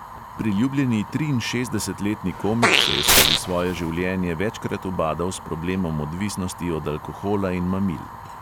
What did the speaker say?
Priljubljeni triinšestdesetletni komik se je skozi svoje življenje večkrat ubadal s problemom odvisnosti od alkohola in mamil.